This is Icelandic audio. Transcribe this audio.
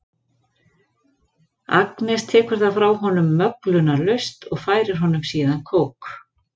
Agnes tekur það frá honum möglunarlaust og færir honum síðan kók.